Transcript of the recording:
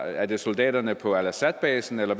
er det soldaterne på al assad basen eller